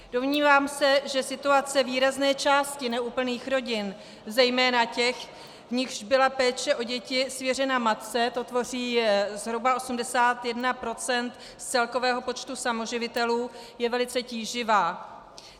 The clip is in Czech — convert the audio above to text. Domnívám se, že situace výrazné části neúplných rodin, zejména těch, v nichž byla péče o děti svěřena matce, to tvoří zhruba 81 % z celkového počtu samoživitelů, je velice tíživá.